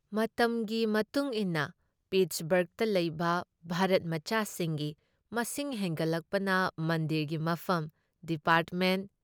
ꯃꯇꯝꯒꯤ ꯃꯇꯨꯡꯏꯟꯅ ꯄꯤꯠꯁꯕꯔꯒꯇ ꯂꯩꯕ ꯚꯥꯔꯠꯃꯆꯥ ꯁꯤꯡꯒꯤ ꯃꯤꯁꯤꯡ ꯍꯦꯟꯒꯠꯂꯛꯄꯅ ꯃꯟꯗꯤꯔꯒꯤ ꯃꯐꯝ, ꯗꯤꯄꯥꯔꯠꯃꯦꯟꯠ